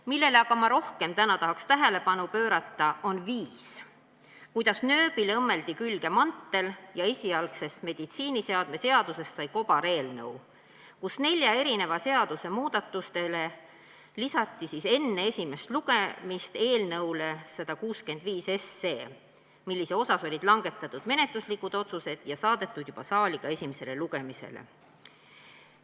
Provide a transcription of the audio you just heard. Millele aga ma rohkem tahaks täna tähelepanu pöörata, see on viis, kuidas nööbile õmmeldi külge mantel ja esialgsest meditsiiniseadme seadusest sai kobareelnõu, nelja seaduse muudatused lisati enne esimest lugemist eelnõule 165, millise kohta olid langetatud menetluslikud otsused ja mis oli saadetud juba saali esimesele lugemisele.